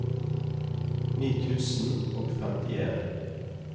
ni tusen og femtien